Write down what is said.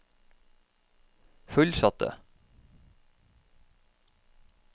fullsatte